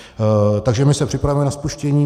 Takže my se připravujeme na spuštění.